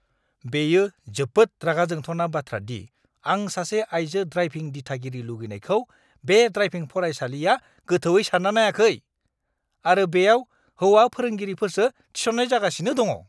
बेयो जोबोद रागा जोंथावना बाथ्रा दि आं सासे आइजो ड्राइभिं-दिथागिरि लुबैनायखौ बे ड्राइभिं फरायसालिआ गोथौवै सानना नायाखै, आरो बेयाव हौवा-फोरोंगिरिफोरसो थिसन्नाय जागासिनो दङ।